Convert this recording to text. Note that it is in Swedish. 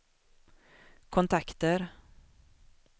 kontakter